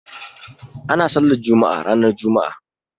Ana sallar juma'a ranar juma'a